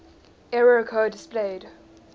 error code displayed